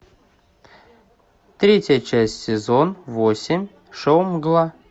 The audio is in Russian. третья часть сезон восемь шоу мгла